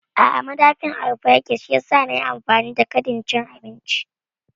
A'a madafi ɗin a rufe yake shiyasa nayi amfani da kadin cin abinci